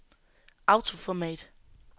autoformat